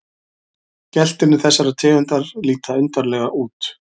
Geltirnir þessarar tegundar líta undarlega út.